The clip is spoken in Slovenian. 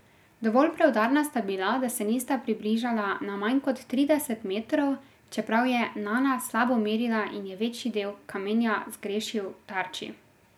Dovolj preudarna sta bila, da se nista približala na manj kot trideset metrov, čeprav je Nana slabo merila in je večji del kamenja zgrešil tarči.